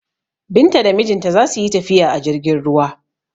Binta da mijinta za su yi tafiya a jirgin ruwa.